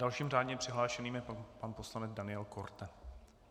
Dalším řádně přihlášeným je pan poslanec Daniel Korte.